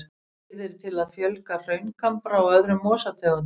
Leiðir til að fjölga hraungambra og öðrum mosategundum.